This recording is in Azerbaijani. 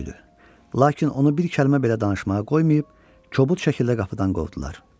Lakin onu bir kəlmə belə danışmağa qoymayıb, kobud şəkildə qapıdan qovdular.